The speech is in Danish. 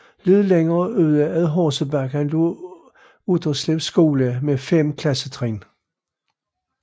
Lidt længere ude ad Horsebakken lå Utterslev Skole med 5 klassetrin